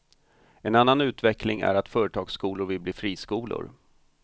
En annan utveckling är att företagsskolor vill bli friskolor.